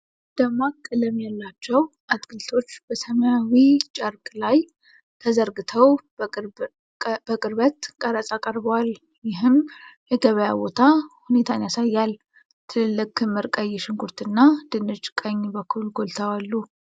ደማቅ ቀለም ያላቸው አትክልቶች በሰማያዊ ጨርቅ ላይ ተዘርግተው በቅርበት ቀረጻ ቀርበዋል፣ ይህም የገበያ ቦታ ሁኔታን ያሳያል። ትልልቅ ክምር ቀይ ሽንኩርት እና ድንች ቀኝ በኩል ጎልተው አሉ።